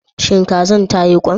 Shin kazar tayi ƙwan?